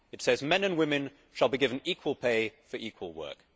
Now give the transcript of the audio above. It says, men and women shall be given equal pay for equal work'.